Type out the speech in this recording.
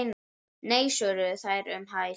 Nei svöruðu þeir um hæl.